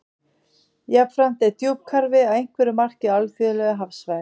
Jafnframt er djúpkarfi að einhverju marki á alþjóðlegu hafsvæði.